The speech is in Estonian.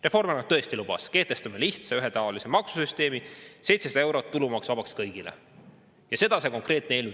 Reformierakond tõesti lubas, et nad kehtestavad lihtsa ja ühetaolise maksusüsteemi, 700 eurot tulumaksuvabastust kõigile, ja seda see eelnõu teeb.